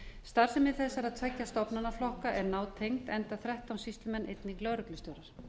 starfsemi þessara tveggja stofnanaflokka er nátengd enda þrettán sýslumenn einnig lögreglustjórar